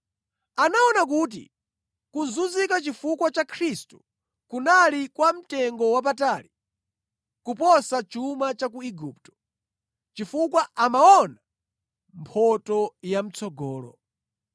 Anaona kuti kuzunzika chifukwa cha Khristu kunali kwa mtengowapatali kuposa chuma cha ku Igupto, chifukwa amaona mphotho ya mʼtsogolo.